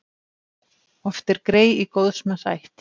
Oft er grey í góðs manns ætt.